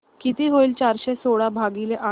किती होईल चारशे सोळा भागीले आठ